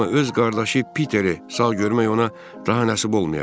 Amma öz qardaşı Piteri sağ görmək ona daha nəsib olmayacaq.